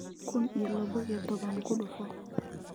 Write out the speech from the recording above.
kun iyo laba iyo toban ku dhufo